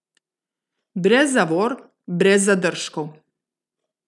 Brez zavor, brez zadržkov.